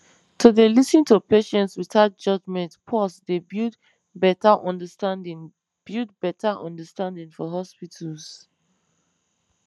to dey lis ten to patients without judgement pause dey build better understanding build better understanding for hospitals